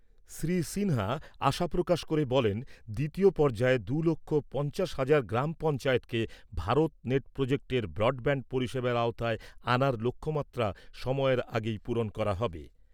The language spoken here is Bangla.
শ্রী সিনহা আশা প্রকাশ করে বলেন, দ্বিতীয় পর্যায়ে দু' লক্ষ পঞ্চাশ হাজার গ্রাম পঞ্চায়েতকে ভারত নেট প্রজেক্টের ব্রডব্যান্ড পরিষেবার আওতায় আনার লক্ষ্যমাত্রা সময়ের আগেই পূরণ করা হবে।